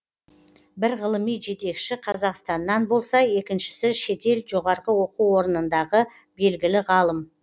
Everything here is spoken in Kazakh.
бір ғылыми жетекші қазақстаннан болса екіншісі шетел жоғарғы оқу орнындағы белгілі ғалым